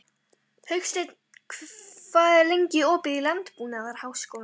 Hauksteinn, hvað er lengi opið í Landbúnaðarháskólanum?